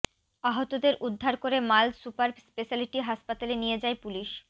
আহতদের উদ্ধার করে মাল সুপার স্পেশালিটি হাসপাতালে নিয়ে যায় পুলিশ